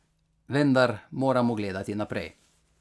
Vendar moramo gledati naprej.